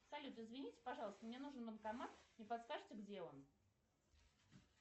салют извините пожалуйста мне нужен банкомат не подскажете где он